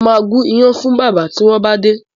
Mo ma gún iyán fún bábà tí wọ́n bá dé